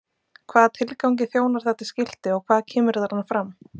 Hvaða tilgangi þjónar þetta skilti og hvað kemur þarna fram?